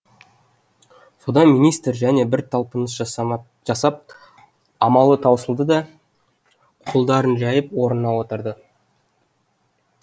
содан министр және бір талпыныс жасамап жасап амалы таусылды да қолдарын жайып орнына отырды